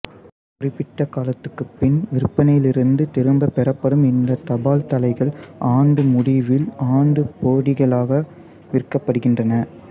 குறிப்பிட்ட காலத்துக்குப் பின் விற்பனையிலிருந்து திரும்பப் பெறப்படும் இந்தத் தபால்தலைகள் ஆண்டு முடிவில் ஆண்டுப்பொதிகளாக விற்கப்படுகின்றன